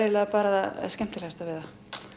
það skemmtilegasta við það